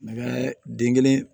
N bɛ den kelen